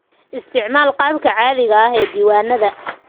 Isticmaal qaabka caadiga ah ee diiwaannada.